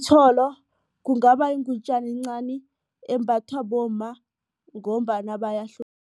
kungaba yingutjana encani embathwa bomma ngombana